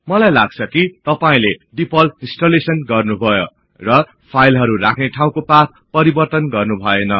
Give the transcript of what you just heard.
मलाई लाग्छ कि तपाईले डिफल्ट इन्सटलेशन गर्नुभयो र फाईलहरु राख्ने ठाउँको पाथ परिवर्तन गर्नुभऐन